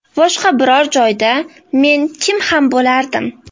Boshqa biror joyda men kim ham bo‘lardim?